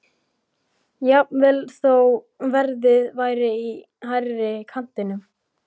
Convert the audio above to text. Jafnvel þó að verðið væri í hærri kantinum.